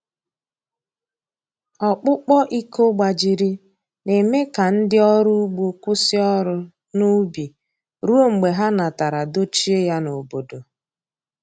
Ọkpụkpọ iko gbajiri na-eme ka ndị ọrụ ugbo kwụsị ọrụ n’ubi ruo mgbe ha natara dochie ya n’obodo.